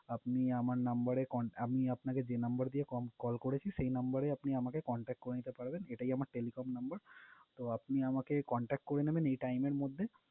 আপনি আমার number এ cont~ আমি আপনাকে যে number দিয়ে call করেছি, সে number এই আপনি আমাকে contact করে নিতে পারবেন। সেটাই আমার telecom number । তো আপনি আমাকে contact করে নিবেন এই time এর মধ্যে